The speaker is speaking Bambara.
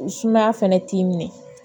Sumaya fɛnɛ t'i minɛ